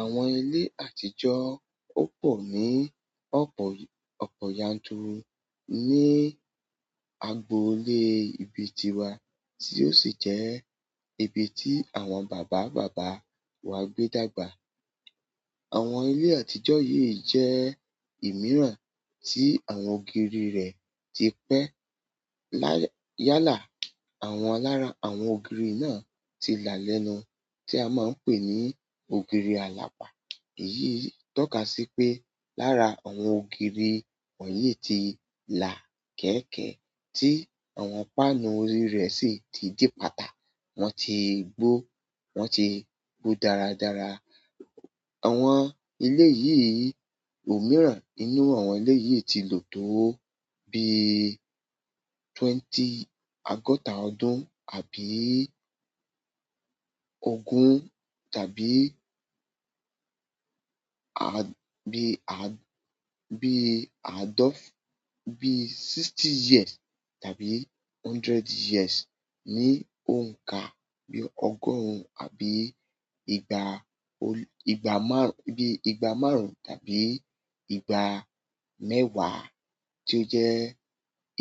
Àwọn ilé àtijọ́ ò pọ̀ ní ọ̀pọ̀ ọ̀pọ̀ yanturu ní agboolé ibi tiwa, tí ó sì jẹ́ ibi tí àwọn bàbá bàbá wa gbé dàgbà. Àwọn ilé àtijọ́ yìí jẹ́ ìmíràn tí àwọn ògiri rẹ̀ ti pẹ́. Lá--yàlá, àwọn lára àwọn ògiri náà ti là lẹ́nu tí a máa ń pè ní ògiri alapa. Èyí tọ́ka sí pé lára àwọn ògiri wọ̀nyí ti là kẹ̀ekeẹ́, tí àwọn páànù orí rẹ̀ sì ti dí pata. Wọ́n ti gbó, wọ́n ti gbó dáradára. Àwọn elé yìí, òmíràn nínú àwọn elé yìí ti lò tó bí twenty-- ogọ́ta ọdún àbí ogún tàbí aa--bi--aa--bi--aadof--bi sixty years tàbí hundred years. Ni òǹkà bí ọgọ́rùn-ún, àbí ìgbà ol-- ìgbà márùn-ún, bí ìgbà márùn-ún tàbí ìgbà mẹ́wàá tí ó jẹ́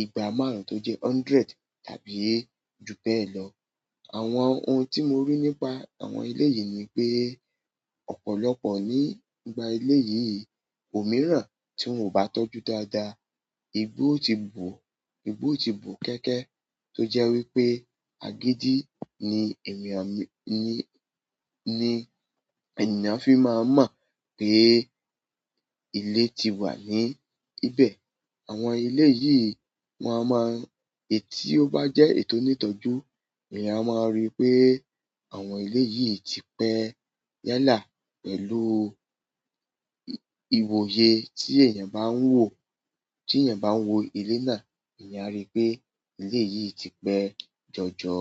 ìgbà márùn-ún tó jẹ́ hundred tàbí ju bẹ́ẹ̀ lọ. Àwọn ohun tí mo rí nípa àwọn ilé yìí ni pé ọ̀pọ̀lọpọ̀ nígbà ilé yìí, òmíràn tí wọ́n ò bá tọ́jú dáadáa, igbó o ti bo, igbó ti bo kẹ̀kẹ́. Tó jẹ́ wípé àgídí ni ènìyàn ní, ní, ènìyàn fi máa mọ̀ pé ilé ti wà ní ibẹ̀. Àwọn ilé yìí won a máa-- èyí tí ó bá jẹ́ èyí tò nítọ́jú, èèyàn máa rí pé àwọn ilé yìí ti pẹ́ yálà pẹ̀lú ìwòye tí èèyàn bá ń wò. Tí èèyàn bá ń wo ilé náà, èèyàn a rí pé ilé yìí ti pẹ́ jọjọ.